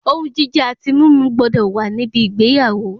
Ohun jíjẹ àti mímu gbọ́dọ̀ wa níbi ìgbéyàwó